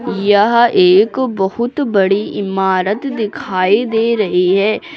यह एक बहुत बड़ी इमारत दिखाई दे रही है।